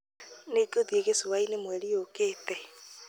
nĩngũthie gĩcũwaini mweri ukite